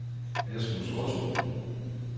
Asmus Otto